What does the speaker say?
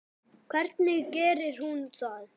Hvernig gerir hún það?